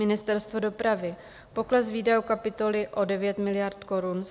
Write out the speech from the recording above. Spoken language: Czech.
Ministerstvo dopravy - pokles výdajů kapitoly o 9 miliard korun.